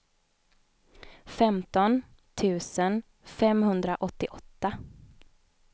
femton tusen femhundraåttioåtta